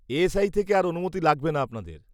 -ASI থেকে আর অনুমতি লাগবে না আপনাদের।